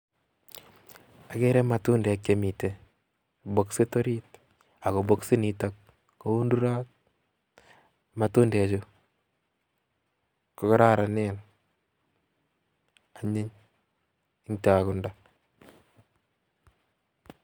Okere matundek chemiten bokisit oriit ak ko bokisit nitok koundurot, matundechu ko kororonen anyiny yetokundo.